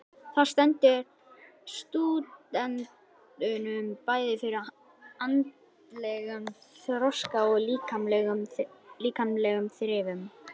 Það stendur stúdentunum bæði fyrir andlegum þroska og líkamlegum þrifum.